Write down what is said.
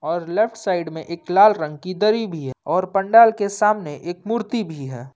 और left side में एक लाल रंग की दरी भी है और पंडाल के सामने एक मूर्ति भी है।